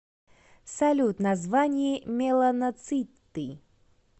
салют название меланоциты